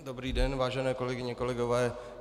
Dobrý den, vážené kolegyně, kolegové.